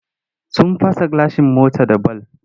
Sun fast gilashin motar da bal.